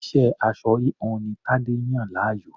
Iṣẹ́ aṣọ-híhun ni Tadé yàn láàyò.